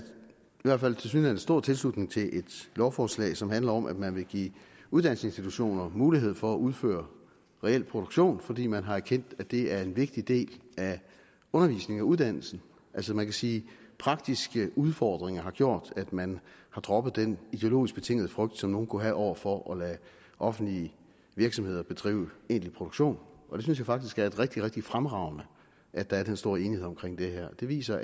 hvert fald tilsyneladende stor tilslutning til et lovforslag som handler om at man vil give uddannelsesinstitutioner mulighed for at udføre reel produktion fordi man har erkendt at det er en vigtig del af undervisningen og uddannelsen altså man kan sige at praktiske udfordringer har gjort at man har droppet den ideologisk betingede frygt som nogle kunne have over for at lade offentlige virksomheder bedrive egentlig produktion og jeg synes faktisk det er rigtig rigtig fremragende at der er den store enighed om det her det viser